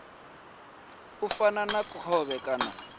u fana na khovhe kana